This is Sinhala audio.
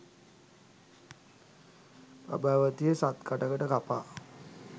පබාවතිය සත්කඩකට කපා